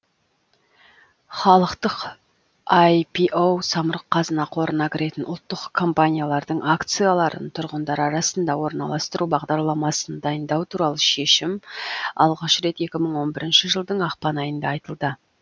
халықтық айпио самұрық қазына қорына кіретін ұлттық компаниялардың акцияларын тұрғындар арасында орналастыру бағдарламасын дайындау туралы шешім алғаш рет екі мың он бірінші жылдың ақпан айында айтылды